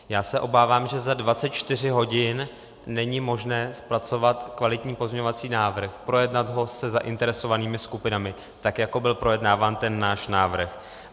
Já se obávám, že za 24 hodin není možné zpracovat kvalitní pozměňovací návrh, projednat ho se zainteresovanými skupinami, tak jako byl projednáván ten náš návrh.